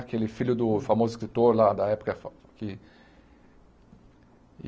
Aquele filho do famoso escritor lá da época fa que.